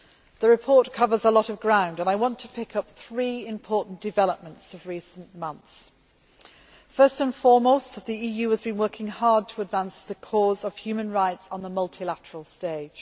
The report covers a lot of ground and I want to pick up three important developments of recent months. First and foremost, the EU has been working hard to advance the cause of human rights on the multilateral stage.